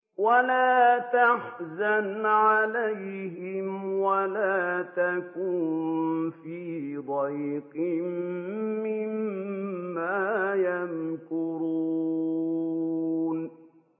وَلَا تَحْزَنْ عَلَيْهِمْ وَلَا تَكُن فِي ضَيْقٍ مِّمَّا يَمْكُرُونَ